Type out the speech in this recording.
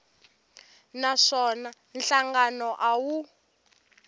na swona nhlangano a wu